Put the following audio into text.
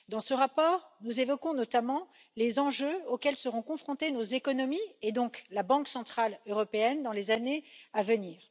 Dans ce rapport, nous évoquons notamment les enjeux auxquels seront confrontées nos économies, et donc la Banque centrale européenne, dans les années à venir.